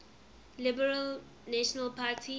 liberal national party